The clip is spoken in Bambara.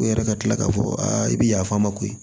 U yɛrɛ ka tila k'a fɔ aa i bɛ yaf'an ma ko